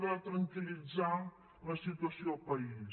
de tranquil·litzar la situació al país